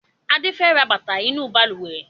Adé fẹ ra bàtà inú Balùwẹ́